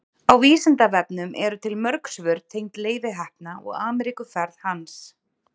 á vísindavefnum eru til mörg svör tengd leifi heppna og ameríkuferð hans